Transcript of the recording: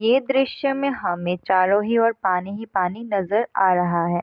ये दृश्य में हमें चारों ही ओर पानी ही पानी नजर आ रहा है।